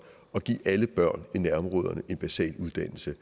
at give alle børn i nærområderne en basal uddannelse